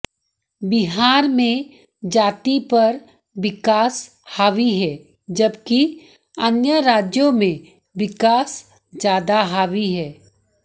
बिहार में जाति पर विकास हावी है जबकि अन्य राज्यों में विकास ज्यादा हावी है